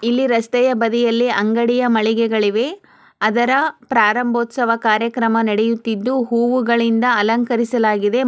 ಇಲ್ಲಿ ರಸ್ತೆಯ ಬದಿಯಲ್ಲಿ ಅಂಗಡಿಯ ಮಳಿಗೆಗಳಿವೆ ಅದರ ಪ್ರಾರಂಭೋತ್ಸವ ಕಾರ್ಯಕ್ರಮ ನಡೆಯುತ್ತಿದು ಹೂವು ಗಳಿಂದ ಅಲಂಕರಿಸಲಾಗಿದೆ --